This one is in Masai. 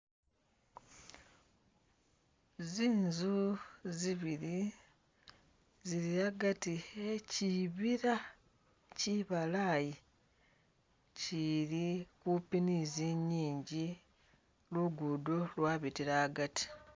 Zinzu zibili zili agati eh kibila kibalayi kili kupi ni zingingi, luguudo lwabitila agati.